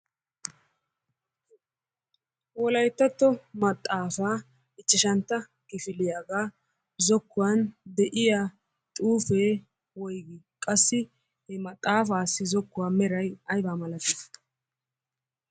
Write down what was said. Wolayttatto maxaafa ichchashshantta kifillyagga zokkuwaani de'iyaa xuufe woyiggi? Qassi he maxaafassi zookuwaa meray aybaa milatti?